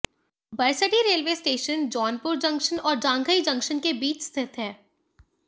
Barsathi railway station Jaunpur junction और Janghai junction के बीच स्थित है